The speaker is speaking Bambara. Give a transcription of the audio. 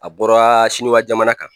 A bɔra siniwa jamana kan